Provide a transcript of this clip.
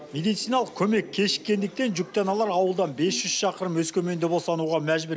медициналық көмек кешіккендіктен жүкті аналар ауылдан бес жүз шақырым өскеменде босануға мәжбүр